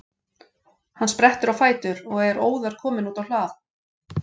Hann sprettur á fætur og er óðar kominn út á hlað.